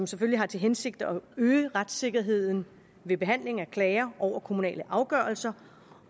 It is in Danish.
selvfølgelig har til hensigt at øge retssikkerheden ved behandlingen af klager over kommunale afgørelser